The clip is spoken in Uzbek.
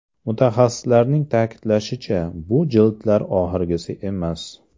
Mutaxassislarning ta’kidlashicha, bu jildlar oxirgisi emas.